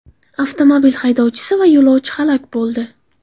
Avtomobil haydovchisi va yo‘lovchi halok bo‘ldi.